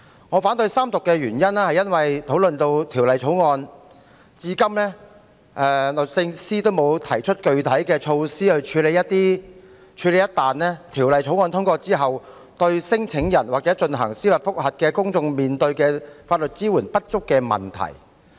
我反對三讀的原因是，《2019年成文法條例草案》討論至今，律政司仍沒有提出具體的措施處理一旦《條例草案》通過後，聲請人或要求司法覆核的公眾人士所面對法律支援不足的問題。